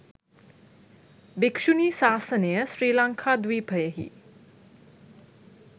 භික්‍ෂුණී ශාසනය ශ්‍රී ලංකාද්වීපයෙහි